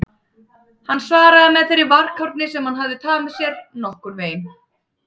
Hann svaraði með þeirri varkárni sem hann hafði tamið sér: Nokkurn veginn